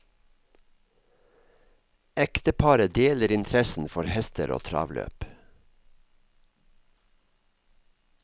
Ekteparet deler interessen for hester og travløp.